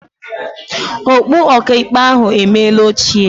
Okpu ọkaikpe ahụ emeela ochie.